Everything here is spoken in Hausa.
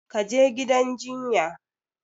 Ka je gidan jinya!